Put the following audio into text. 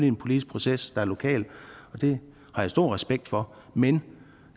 en politisk proces der er lokal og det har jeg stor respekt for men